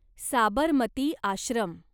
Sabarmati Ashram